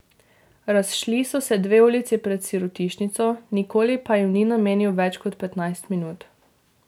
Razšli so se dve ulici pred sirotišnico, nikoli pa jim ni namenil več kot petnajst minut.